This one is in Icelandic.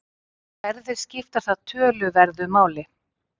Erfðir skipta þar töluverðu máli.